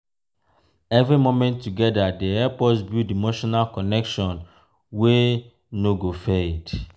every moment together dey help us build emotional connection wey no go fade.